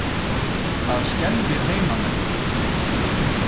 Það skelfir heimamenn.